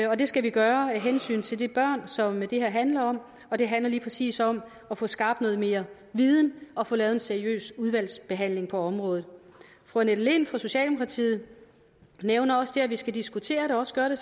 og det skal vi gøre af hensyn til de børn som det her handler om og det handler lige præcis om at få skabt noget mere viden og få lavet en seriøs udvalgsbehandling på området fru annette lind fra socialdemokratiet nævner også det at vi skal diskutere det og også gøre det